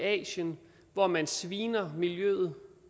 asien hvor man sviner miljøet